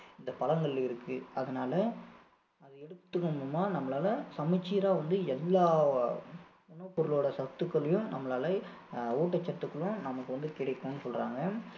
இந்த பழங்களில இருக்கு அதனால அதை எடுத்துக்குட்டோம்னா நம்மளால சமச்சீரா வந்து எல்லா உணவு பொருளோட சத்துக்களையும் நம்மளால ஆஹ் ஊட்டச்சத்துக்களும் நமக்கு வந்து கிடைக்கும்னு சொல்றாங்க